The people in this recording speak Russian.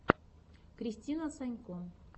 кристина санько